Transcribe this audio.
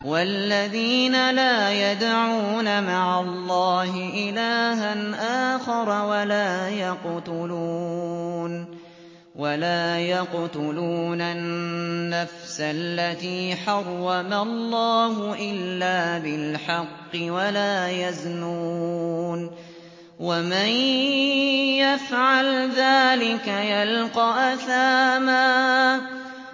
وَالَّذِينَ لَا يَدْعُونَ مَعَ اللَّهِ إِلَٰهًا آخَرَ وَلَا يَقْتُلُونَ النَّفْسَ الَّتِي حَرَّمَ اللَّهُ إِلَّا بِالْحَقِّ وَلَا يَزْنُونَ ۚ وَمَن يَفْعَلْ ذَٰلِكَ يَلْقَ أَثَامًا